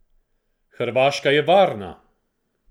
Hrvaška je varna!